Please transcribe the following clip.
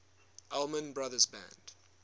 allman brothers band